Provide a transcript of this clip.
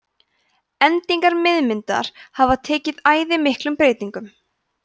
endingar miðmyndar hafa tekið æði miklum breytingum